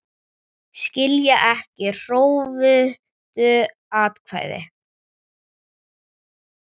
Skilja ekki hrufóttu atkvæðin